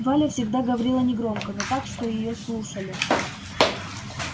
валя всегда говорила негромко но так что её слушали